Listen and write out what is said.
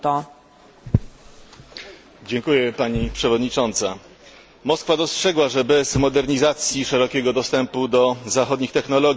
Moskwa dostrzegła, że bez modernizacji szerokiego dostępu do zachodnich technologii nie ma szans na zbliżenie się w rozwoju do średniej europejskiej.